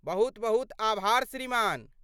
बहुत बहुत आभार श्रीमान!